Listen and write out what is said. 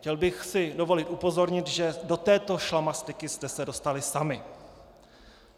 Chtěl bych si dovolit upozornit, že do této šlamastyky jste se dostali sami.